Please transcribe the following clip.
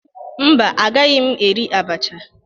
Mba, agaghị m eri abacha.